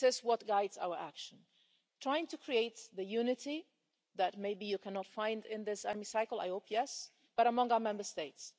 this is what guides our action trying to create the unity that maybe you cannot find in this Hemicycle I hope yes but among our Member States.